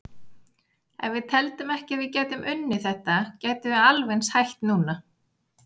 Ef við teldum ekki að við gætum unnið þetta gætum við alveg eins hætt núna.